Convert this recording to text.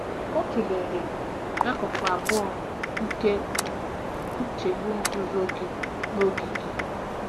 Ọ tụlere akụkụ abụọ nke nchegbu - nzuzo gị na oge gị.